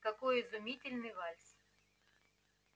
какой изумительный вальс